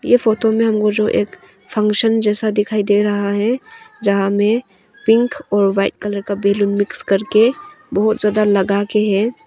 ये फोटो में हमको जो एक फंक्शन जैसा दिखाई दे रहा है जहां में पिंक और वाइट कलर का बैलून मिक्स करके बहुत ज्यादा लगा के है।